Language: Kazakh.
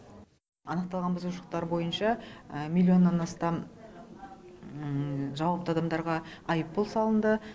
анықталған бұзушылықтар бойынша миллионнан астам жауапты адамдарға айыппұл салынды